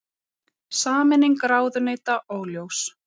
Sameining ráðuneyta óljós